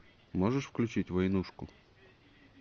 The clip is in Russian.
можешь включить войнушку